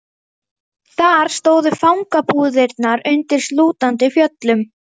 Þar stóðu fangabúðirnar undir slútandi fjöllum.